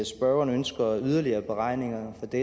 spørgeren ønsker yderligere beregninger af det